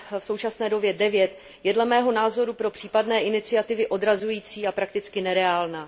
v současné době 9, je dle mého názoru pro případné iniciativy odrazující a prakticky nereálná.